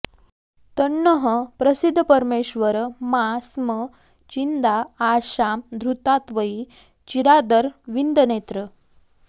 तन्नः प्रसीद परमेश्वर मा स्म छिन्द्या आशां धृतां त्वयि चिरादरविन्दनेत्र